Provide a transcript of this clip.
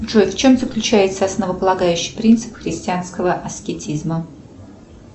джой в чем заключается основополагающий принцип христианского аскетизма